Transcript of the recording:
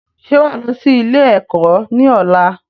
Ṣé wá lọ sí ilé ẹ̀kọ́ ni ọ̀la?